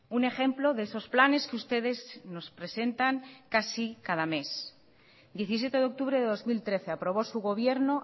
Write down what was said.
un ejemplo de esos planes que ustedes nos presentan casi cada mes diecisiete de octubre de dos mil trece aprobó su gobierno